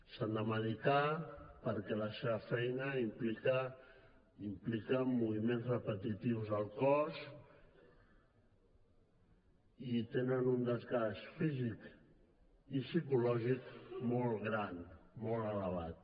s’han de medicar perquè la seva feina implica moviments repetitius al cos i tenen un desgast físic i psicològic molt gran molt elevat